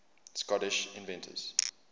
scottish inventors